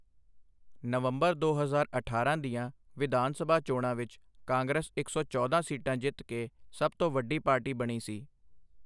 ਨਵੰਬਰ ਦੋ ਹਜ਼ਾਰ ਅਠਾਰਾਂ ਦੀਆਂ ਵਿਧਾਨ ਸਭਾ ਚੋਣਾਂ ਵਿੱਚ ਕਾਂਗਰਸ ਇੱਕ ਸੌ ਚੌਦਾਂ ਸੀਟਾਂ ਜਿੱਤ ਕੇ ਸਭ ਤੋਂ ਵੱਡੀ ਪਾਰਟੀ ਬਣੀ ਸੀ।